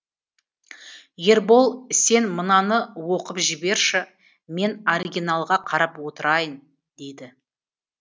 ербол сен мынаны оқып жіберші мен оригиналға қарап отырайың дейді